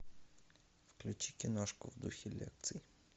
включи киношку в духе лекций